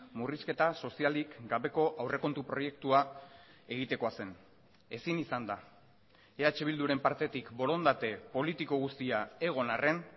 murrizketa sozialik gabeko aurrekontu proiektua egitekoa zen ezin izan da eh bilduren partetik borondate politiko guztia egon arren